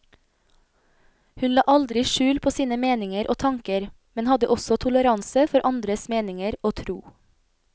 Hun la aldri skjul på sine meninger og tanker, men hadde også toleranse for andres meninger og tro.